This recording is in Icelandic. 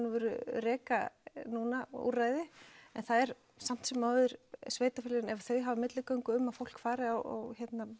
reka núna úrræði en það er samt sem áður sveitarfélögin ef þau hafa milligöngu um að fólk fari á